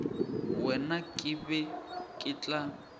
wena ke be ke tla